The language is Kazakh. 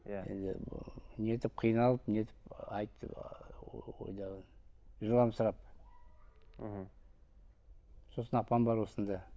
иә енді нетіп қиналып нетіп айтты ыыы жыламсырап мхм сосын апам бар осында